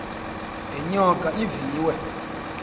le nyoka iviwe